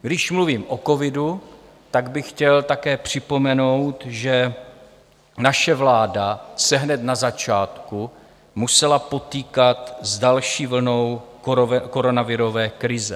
Když mluvím o covidu, tak bych chtěl také připomenout, že naše vláda se hned na začátku musela potýkat s další vlnou koronavirové krize.